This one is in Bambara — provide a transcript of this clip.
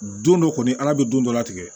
Don dɔ kɔni ala bɛ don dɔ la tigɛ